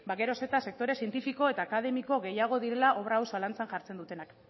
gero eta sektore zientifiko eta akademiko gehiago direla obra hau zalantzan jartzen dutenak